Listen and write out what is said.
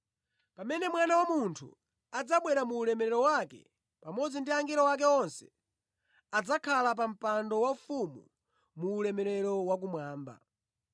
“Pamene Mwana wa Munthu adzabwera mu ulemerero wake, pamodzi ndi angelo ake onse, adzakhala pa mpando waufumu mu ulemerero wakumwamba.